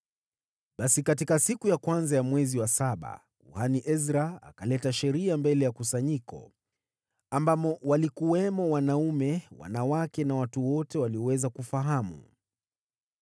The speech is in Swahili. Basi katika siku ya kwanza ya mwezi wa saba, kuhani Ezra akaleta Sheria mbele ya kusanyiko, ambamo walikuwamo wanaume, wanawake na watu wote walioweza kufahamu.